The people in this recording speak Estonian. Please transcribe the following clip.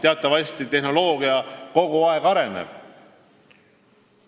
Teatavasti tehnoloogia kogu aeg areneb.